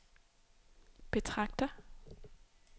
betragter